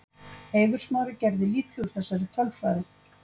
Eiður Smári gerði lítið úr þessari tölfræði.